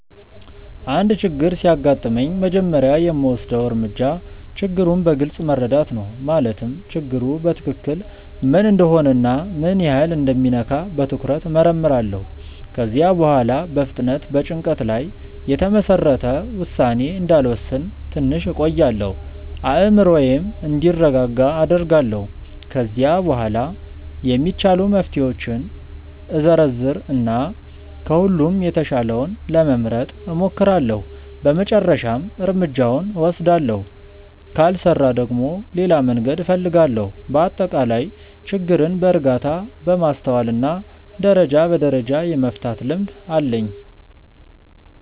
አንድ ችግር ሲያጋጥመኝ መጀመሪያ የምወስደው እርምጃ ችግሩን በግልጽ መረዳት ነው። ማለትም ችግሩ በትክክል ምን እንደሆነ እና ምን ያህል እንደሚነካ በትኩረት እመርምራለሁ። ከዚያ በኋላ በፍጥነት በጭንቀት ላይ የተመሰረተ ውሳኔ እንዳልወስን ትንሽ እቆያለሁ፤ አእምሮዬም እንዲረጋጋ አደርጋለሁ። ከዚያ በኋላ የሚቻሉ መፍትሄዎችን እዘረዝር እና ከሁሉም የተሻለውን ለመምረጥ እሞክራለሁ በመጨረሻም እርምጃውን እወስዳለሁ። ካልሰራ ደግሞ ሌላ መንገድ እፈልጋለሁ። በአጠቃላይ ችግርን በእርጋታ፣ በማስተዋል እና ደረጃ በደረጃ የመፍታት ልምድ አለኝ።